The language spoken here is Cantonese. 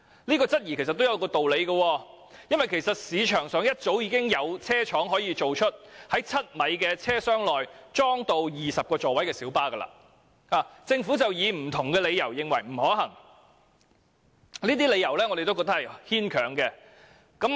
這質疑其實亦不無道理，因為市場上早已有車廠能夠生產可在7米車廂內裝置20個座位的小巴，只是政府以不同的理由認為並不可行，但我們覺得這些理由十分牽強。